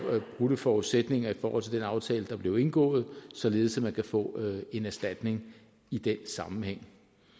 brudte forudsætninger i forhold til den aftale der blev indgået således at man kan få en erstatning i den sammenhæng